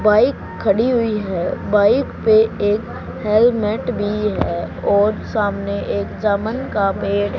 bike खड़ी हुई है बाइक पे एक हेलमेट भी है और सामने एक जामन का पेड़--